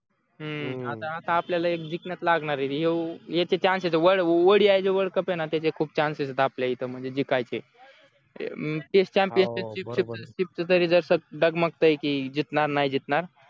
हम्म आता आपल्याला एक जिंकण्यात लागणारे यो याचे chance आहेत त्याचे खूप chance येत आपल्या इथे म्हणजे जिंकायचे डगमगताय की जिंकणार नाही जिंकणार